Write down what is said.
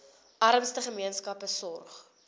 armste gemeenskappe sorg